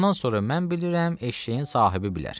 Ondan sonra mən bilirəm, eşşəyin sahibi bilər.